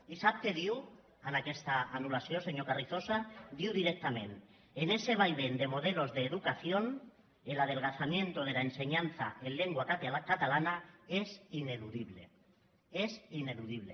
i sap què diu en aquesta anullació senyor carrizosa diu directament en ese vaivén de modelos de educación el adelgazamiento de la enseñanza en lengua catalana es ineludible es ineludible